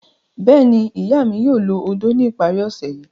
Bẹ́ẹ̀ni, iya mi yoo lo ódó ni ipari ose yii